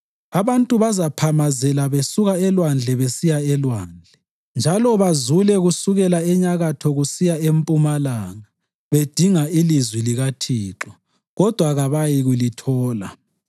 Abantu bazaphamazela besuka elwandle besiya elwandle, njalo bazule kusukela enyakatho kusiya empumalanga, bedinga ilizwi likaThixo, kodwa kabayikulithola.